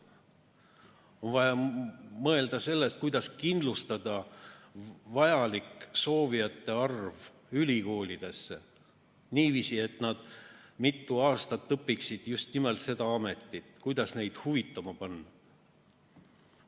On vaja mõelda sellest, kuidas kindlustada vajalik ülikoolidesse soovijate arv niiviisi, et nad mitu aastat õpiksid just nimelt seda ametit, ja kuidas neid huvituma panna.